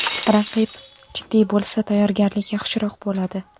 Raqib jiddiy bo‘lsa, tayyorgarlik yaxshiroq bo‘ladi.